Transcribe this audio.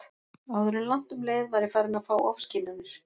Áður en langt um leið var ég farin að fá ofskynjanir.